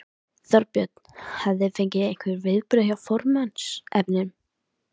Þorbjörn: Hafið þið fengið einhver viðbrögð hjá formannsefnunum?